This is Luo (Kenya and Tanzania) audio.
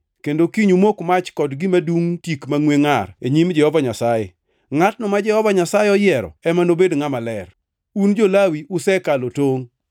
kendo kiny umok mach kod gima dungʼ tik mangʼwe ngʼar e nyim Jehova Nyasaye. Ngʼatno ma Jehova Nyasaye oyiero ema nobed ngʼama ler. Un jo-Lawi usekalo tongʼ!”